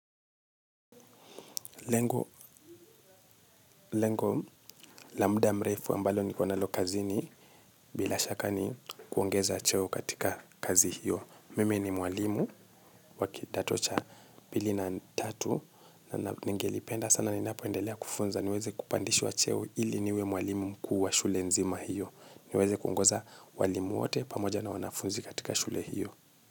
Lengo la muda mrefu ambalo niko nalo kazini bila shakani kuongeza cheo katika kazi hiyo. Mimi ni mwalimu wa kidato cha mbili na tatu na nengilipenda sana ni napendelea kufunza niweze kupandishwa cheo ili niwe mwalimu mkuu wa shule nzima hiyo. Niweze kungoza walimu wote pamoja na wanafunzi katika shule hiyo.